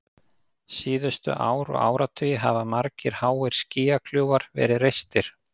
Síðustu ár og áratugi hafa margir háir skýjakljúfar verið reistir.